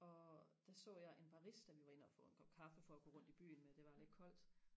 og der så jeg en barista vi var inde og få en kop kaffe for og gå rundt i byen med det var lidt koldt